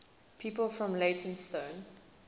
people from leytonstone